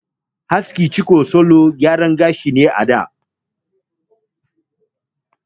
Askin ciko wani salon gyara gashi ne sananne a da.